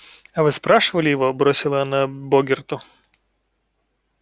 а вы спрашивали его бросила она богерту